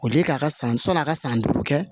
O de ye k'a ka san sɔnn'a ka san duuru kɛ